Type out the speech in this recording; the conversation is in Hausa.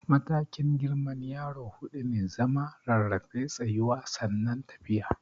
Matakin girman yaro huɗu ne, zama, rarrafe, tsayuwa sannan tafiya.